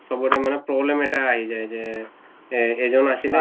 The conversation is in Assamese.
চবৰে মানে problem এটা আহি যায় যে যে এজন আছিলে